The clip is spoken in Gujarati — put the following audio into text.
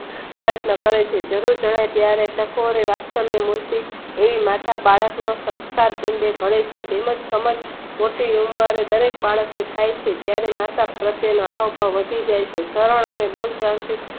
પ્રયત્ન કરે છે જરૂર જણાય ત્યારે એવી માતા બાળક ને સંસ્કાર તેમ જ કમર મોટી ઉંબરે દરેક બાળક ને થાય છે ત્યારે માતા પ્રતેયનો અહમ પણ વધી જાય છે.